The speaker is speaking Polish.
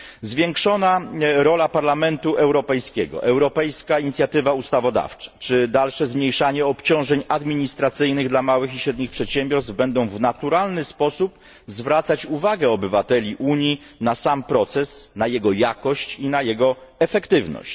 Zwiększona rola Parlamentu Europejskiego, europejska inicjatywa ustawodawcza czy dalsze zmniejszanie obciążeń administracyjnych dla małych i średnich przedsiębiorstw będą w naturalny sposób zwracać uwagę obywateli Unii na sam proces, jego jakość i skuteczność.